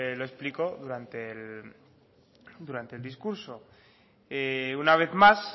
lo explico durante el discurso una vez más